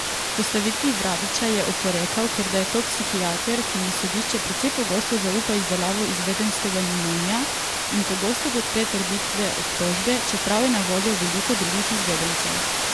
Postavitvi Vrabiča je oporekal, ker da je to psihiater, ki mu sodišče precej pogosto zaupa izdelavo izvedenskega mnenja in pogosto podpre trditve obtožbe, čeprav je na voljo veliko drugih izvedencev.